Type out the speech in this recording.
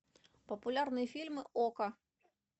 популярные фильмы окко